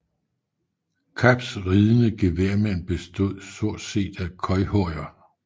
Kaps ridende geværmænd bestod stort set af khoikhoier